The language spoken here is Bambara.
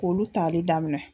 K'olu tali daminɛ